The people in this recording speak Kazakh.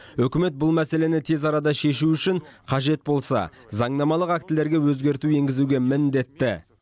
үкімет бұл мәселені тез арада шешу үшін қажет болса заңнамалық актілерге өзгерту енгізуге міндетті